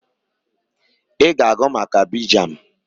I ga-agụ maka Abidjan!